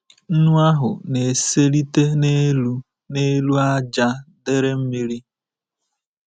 Nnu ahụ na-eselite n'elu n'elu ájá dere mmiri.